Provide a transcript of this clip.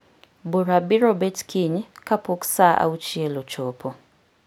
Bura biro bet kiny kapok saa auchiel ochopo.